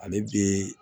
Ale bi